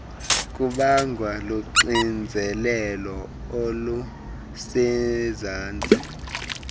kubangwa luxinzelelo olusezantsi